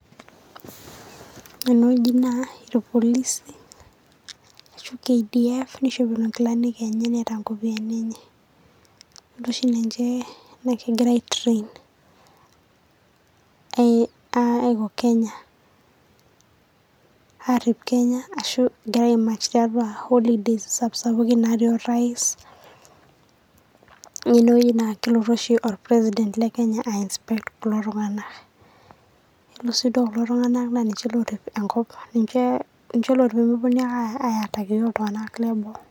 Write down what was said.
Ore ene wueji naa irpolisi arashu keidif neishopito enkilanik enye wonkopiyiani enye. Ore oshi ninche naa kegira aitirain Aiko Kenya, aarip Kenya ashu egira aimuch tiatua Holidays sapuki sapukin, natii orais. Yielo ene wueji naa kelotu oshi orpresident leKenya aiinsepect kulo Tung'anak. Ele sii duo kulo Tung'anak niche orrip peemeponu ake aidaki iyiok iltung'anak leboo.